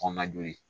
Kɔnɔna joli